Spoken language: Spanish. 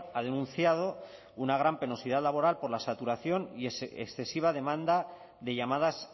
ha denunciado una gran penosidad laboral por la saturación y excesiva demanda de llamadas